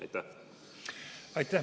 Aitäh!